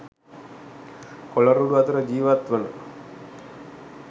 කොළ රොඩු අතර ජීවත් වන